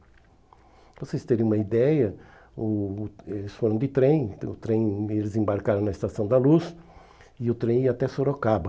Para vocês terem uma ideia, o eles foram de trem, o trem eles embarcaram na Estação da Luz e o trem ia até Sorocaba.